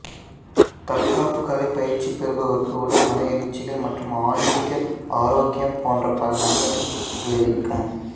தற்காப்புக்கலை பயிற்சி பெறுபவருக்கு உடல் மன மனவெழுச்சிகள் மற்றும் ஆன்மீக ஆரோக்கியம் போன்ற பல நன்மைகளை விளைவிக்கும்